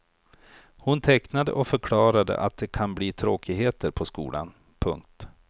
Hon tecknade och förklarade att det kan bli tråkigheter på skolan. punkt